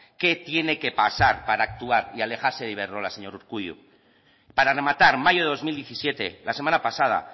qué tiene que pasar para actuar y alejarse de iberdrola señor urkullu para rematar mayo de dos mil diecisiete la semana pasada